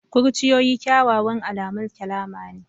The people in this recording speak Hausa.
Kurciyoyi kyawawan alamun salama ne.